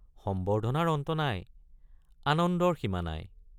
সম্বৰ্ধনাৰ অন্ত নাই—আনন্দৰ সীমা নাই।